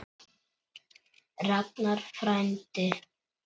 Ragnar frændi.